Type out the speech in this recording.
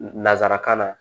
Nanzarakan na